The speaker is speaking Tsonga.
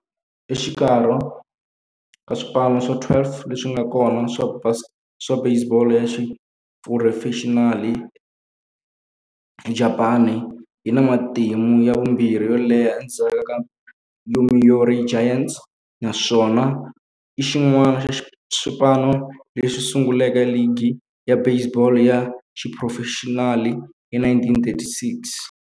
Exikarhi ka swipano swa 12 leswi nga kona swa baseball ya xiphurofexinali eJapani, yi na matimu ya vumbirhi yo leha endzhaku ka Yomiuri Giants, naswona i xin'wana xa swipano leswi sunguleke ligi ya baseball ya xiphurofexinali hi 1936.